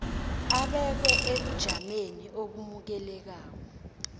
abekwe ebujameni obamukelekako